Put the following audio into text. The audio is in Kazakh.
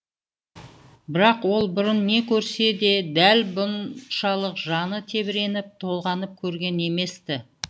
бірақ ол бұрын не көрсе де дәл бұншалық жаны тебіреніп толғанып көрген емес ті